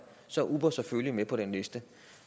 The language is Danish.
så er uber selvfølgelig med på den liste